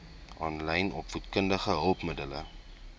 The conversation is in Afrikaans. aanlyn opvoedkundige hulpmiddele